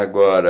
Agora...